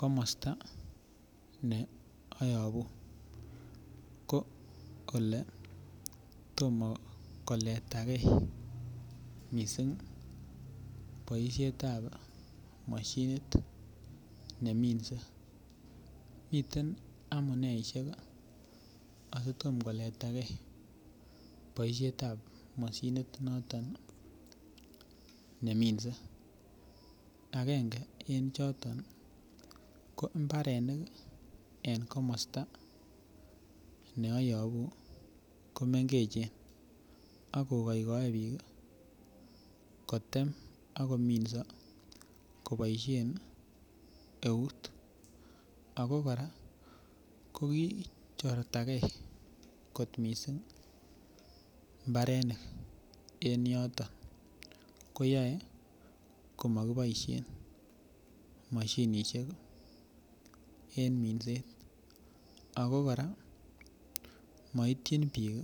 Komosta ne ayobu ko ole tomo koletagei mising boisietab mashinit neminse miten amuneisiek asi Tom koletagei boisiet ab mashinit noton neminse agenge en choto ko mbarenik en komosta ne ayobu ko mengechen akogoigoe bik kotem ak kominso koboisien eut ago kora kokichortagei kot mising mbarenik en yoton ko yoe komokiboisien mashinisiek en minset ako kora moityin bik